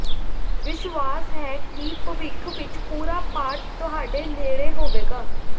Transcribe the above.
ਵਿਸ਼ਵਾਸ ਹੈ ਕਿ ਭਵਿਖ ਵਿਚ ਪੂਰਾ ਪਾਠ ਤੁਹਾਡੇ ਨੇੜੇ ਹੋਵੇਗਾ